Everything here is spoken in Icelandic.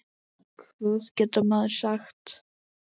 Hvað getur maður sagt?